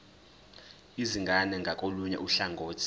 izingane ngakolunye uhlangothi